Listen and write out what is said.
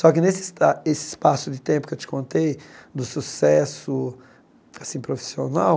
Só que nesse esta esse espaço de tempo que eu te contei do sucesso assim profissional,